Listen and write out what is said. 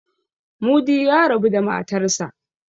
Mudi ya rabu da matarsa.